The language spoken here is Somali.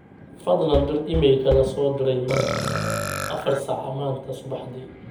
fadhlan dir iimaylka lasoo diray maanta afar saac maanta subaxdii